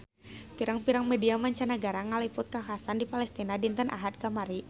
Pirang-pirang media mancanagara ngaliput kakhasan di Palestina dinten Ahad kamari